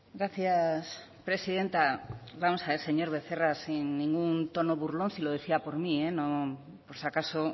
gracias presidenta vamos a ver señor becerra sin ningún tono burlón si lo decía por mí por si acaso